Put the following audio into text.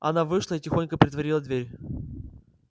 она вышла и тихонько притворила дверь